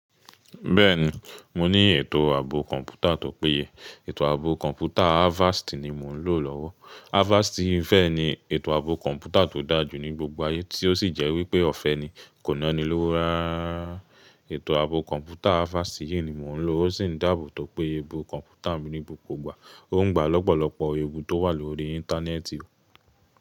Bẹ́ẹ̀ni, mo ní ètò ààbò kọ̀ǹpútà tó péye. Ètò ààbò kọ̀ǹpútà Avast ni mo n lò lọ́wọ́. Avast yii fẹ́ ni ètò ààbò kọ̀ǹpútà tó dá jù ní gbogbo ayé tí ó sì jẹ́ wípé ọ̀fẹ́ ni, kò nọ ní lowo rarara. Ètò ààbò kọ̀ǹpútà Avast yìí ni mo ń lò, ó sì ń dàbọ̀ tó péye bo kọ̀ǹpútà mi ní gbogbo ìgbà. Ó ń gba lọ́pọ̀lọpọ̀ ewu tó wà lórí íńtánẹ́ẹ̀tì o.